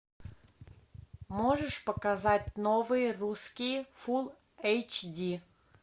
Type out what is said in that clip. можешь показать новые русские фулл эйч ди